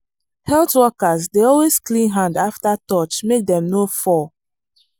health workers dey always clean hand after touch make dem no fall.